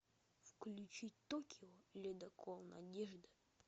включить токио ледокол надежда